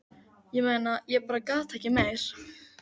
Ég meina. ég bara gat ekki meir.